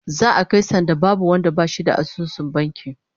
Za'a kai sanda babu wanda bashi da asusun banki